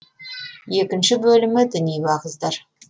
екінші бөлімі діни уағыздар